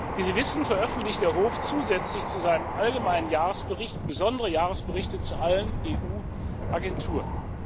Wie Sie wissen, veröffentlicht der Hof zusätzlich zu seinem allgemeinen Jahresbericht besondere Jahresberichte zu allen EUAgenturen.